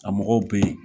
A mɔgɔw bɛ yen